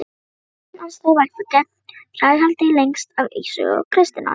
Engin andstaða var gegn þrælahaldi lengst af í sögu kristninnar.